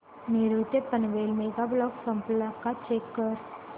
नेरूळ ते Panvel mega block संपला का चेक कर